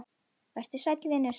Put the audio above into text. Vertu sæll vinur.